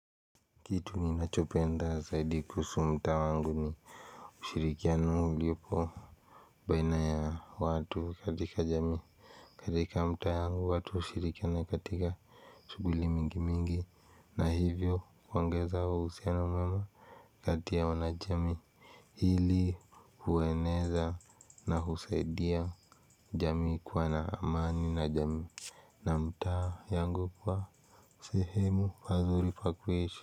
Kitu ninachopenda zaidi kuhusu mtaa wangu ni ushirikiano uliopo Baina ya watu katika jamii katika mtaa yangu watu hushirikiana katika shughulli mingimingi na hivyo kuongeza uhusiano mwema kati ya wanajamii hili hueneza na husaidia jamii kuwa na amani na jamii na mtaa yangu kwa sehemu pazuri pa kuishi.